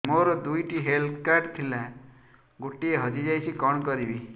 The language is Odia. ମୋର ଦୁଇଟି ହେଲ୍ଥ କାର୍ଡ ଥିଲା ଗୋଟିଏ ହଜି ଯାଇଛି କଣ କରିବି